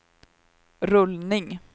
rullning